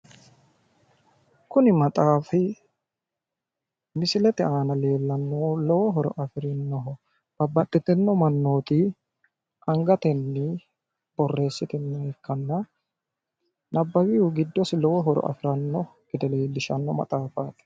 kuni maxaafi misilete aana leellannohu lowo horo afirinoho babbaxitino mannooti angatenni borreessitinnoha ikkanna nabbawihu giddosi lowo horo afirannota leellishanno maxafaati